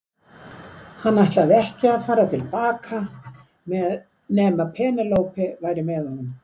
Hann ætlaði ekki að fara til baka nema Penélope væri með honum.